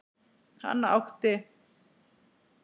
Hann átti